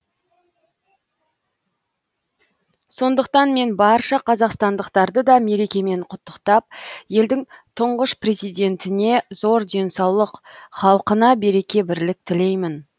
сондықтан мен барша қазақстандықтарды да мерекемен құттықтап елдің тұңғыш президентіне зор денсаулық халқына береке бірлік тілеймін